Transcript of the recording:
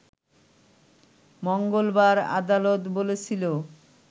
মঙ্গলবার আদালত বলেছিল